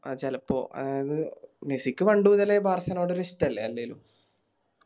ആ ചെലപ്പോ മെസ്സിക്ക് പണ്ട് മുതലേ ബാഴ്സലോണയോട് ഒരിഷ്ട്ടല്ലേ അല്ലേലും